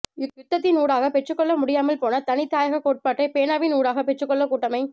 யுத்தத்தின் ஊடாக பெற்றுக்கொள்ள முடியாமல் போன தனி தாயக கோட்பாட்டை பேனாவின் ஊடாக பெற்றுக்கொள்ள கூட்டமை